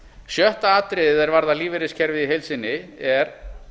sjötta atriðið er varðar lífeyriskerfið í heild sinni er